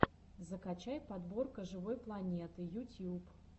закачай подборка живой планеты ютьюб